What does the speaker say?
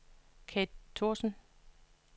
Kate Thorsen